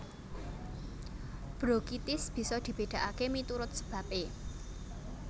Brokitis bisa dibedakake miturut sebabe